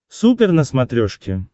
супер на смотрешке